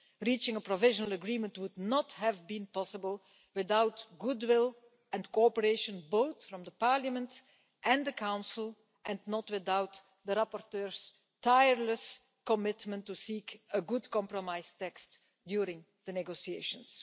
Reaching a provisional agreement would not have been possible without goodwill and cooperation both from Parliament and the Council and not without the rapporteur's tireless commitment to seek a good compromise text during the negotiations.